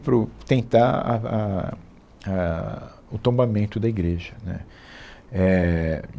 Para o tentar a va a a o tombamento da igreja, né. Éh